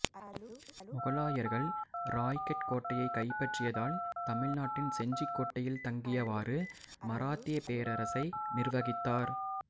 முகலாயர்கள் ராய்கட் கோட்டையைக் கைப்பற்றியதால் தமிழ்நாட்டின் செஞ்சிக் கோட்டையில் தங்கியவாறு மராத்தியப் பேரரசை நிர்வகித்தார்